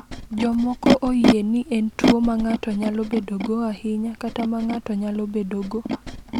Jomoko oyie ni en tuwo ma ng’ato nyalo bedogo ahinya kata ma ng’ato nyalo bedogo.